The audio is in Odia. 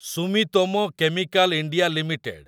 Sumitomo Chemical India limited